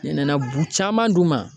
Ne nana bu caman d'u ma.